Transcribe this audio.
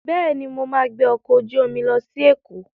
Bẹ́ẹ̀ni, mo ma gbẹ́ ọkọ̀ ojú omi lọ sí Èkó